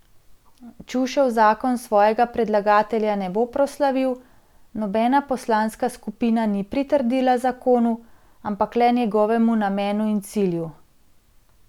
Čušev zakon svojega predlagatelja ne bo proslavil, nobena poslanska skupina ni pritrdila zakonu, ampak le njegovemu namenu in cilju.